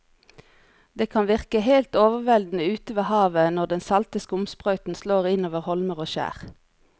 Det kan virke helt overveldende ute ved havet når den salte skumsprøyten slår innover holmer og skjær.